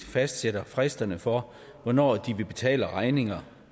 fastsætter fristerne for hvornår de vil betale deres regninger